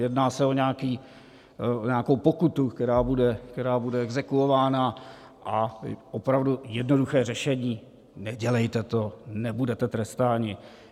Jedná se o nějakou pokutu, která bude exekvována, a opravdu jednoduché řešení: Nedělejte to, nebudete trestáni.